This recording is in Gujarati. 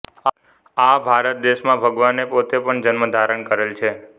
આ ભારત દેશમાં ભગવાને પોતે પણ જન્મ ધારણ કરેલ છે